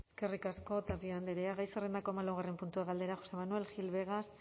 eskerrik asko tapia andrea gai zerrendako hamalaugarren puntua galdera josé manuel gil vegas